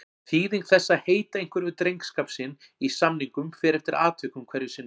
Þýðing þess að heita einhverju við drengskap sinn í samningum fer eftir atvikum hverju sinni.